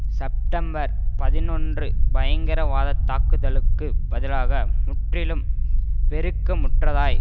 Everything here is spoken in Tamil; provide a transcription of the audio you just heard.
செப்டம்பர் பதினொன்று பயங்கரவாதத் தாக்கதளுக்குப் பதிலாக முற்றிலும் பெருக்க முற்றதாய்